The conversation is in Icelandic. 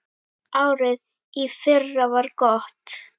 Árið í fyrra var gott.